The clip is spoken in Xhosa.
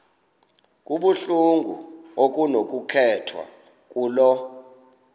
kuluhlu okunokukhethwa kulo